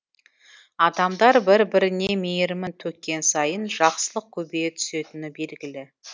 адамдар бір біріне мейірімін төккен сайын жақсылық көбейе түсетіні белгілі